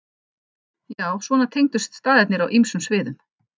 Já, svona tengdust staðirnir á ýmsum sviðum.